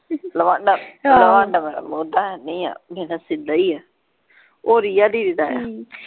ਨਾ ਨਾ ਓਦਾਂ ਹੈਨੀ ਆ ਸਿਧਾ ਹੀ ਆ ਦਾ।